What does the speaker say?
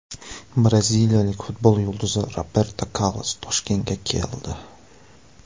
Braziliyalik futbol yulduzi Roberto Karlos Toshkentga keldi .